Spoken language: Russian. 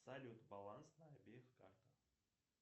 салют баланс на обеих картах